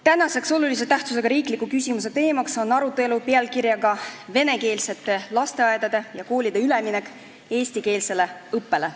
Tänase olulise tähtsusega riikliku küsimuse teema on "Venekeelsete lasteaedade ja koolide üleminek eestikeelsele õppele".